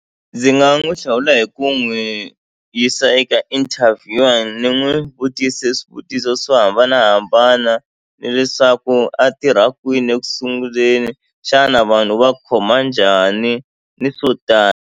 Ndzi nga n'wi hlawula hi ku n'wi yisa eka interview ni n'wi vutise swivutiso swo hambanahambana ni leswaku a tirha kwini eku sunguleni xana vanhu va khoma njhani ni swo tala.